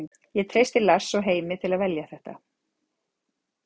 Ég treysti Lars og Heimi til að velja þetta.